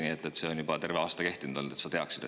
Nii et see on juba terve aasta kehtinud, et sa teaksid.